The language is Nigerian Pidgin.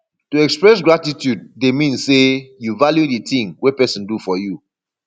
to express gratitude de mean say you value di thing wey persin do for you